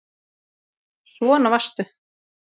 Svona varstu.